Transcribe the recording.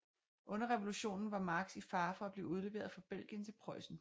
Under revolutionen var Marx i fare for at blive udleveret fra Belgien til Preussen